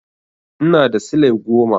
Ina da silai goma.